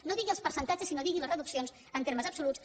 no digui els percentatges sinó digui les reduccions en termes absoluts